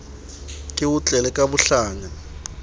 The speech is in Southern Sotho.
ke o tlele ka bohlanya